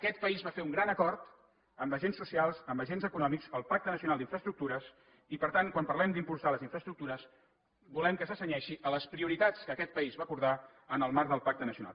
aquest país va fer un gran acord amb agents socials amb agents econòmics el pacte nacional d’infraestructures i per tant quan parlem d’impulsar les infraestructures volem que se cenyeixi a les prioritats que aquest país va acordar en el marc del pacte nacional